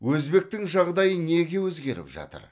өзбектің жағдайы неге өзгеріп жатыр